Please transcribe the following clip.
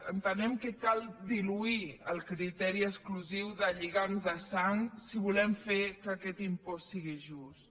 entenem que cal diluir el criteri exclusiu de lligam de sang si volem fer que aquest impost sigui just